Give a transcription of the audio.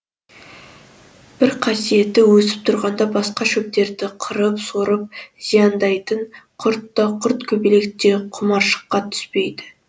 бір қасиеті өсіп тұрғанда басқа шөптерді қырқып сорып зияндайтын құрт та құрт көбелек те құмаршыққа түспейді